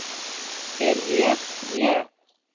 Er ég ég?